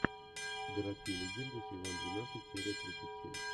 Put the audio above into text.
городские легенды сезон двенадцать серия тридцать семь